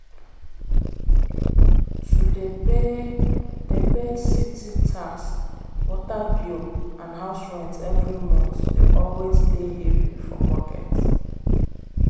to dey pay dey pay city tax water bill and house rent every month d always dey heavy for pocket.